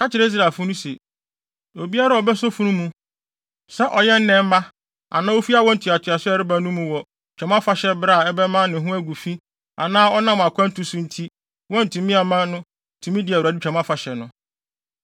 “Ka kyerɛ Israelfo no se, Obiara a obeso funu mu, sɛ ɔyɛ nnɛmma anaa ofi awo ntoatoaso a ɛreba no mu wɔ Twam Afahyɛ bere a ɛbɛma ne ho agu fi anaa ɔnam akwantu so nti wɔantumi amma no tumi di Awurade Twam Afahyɛ no,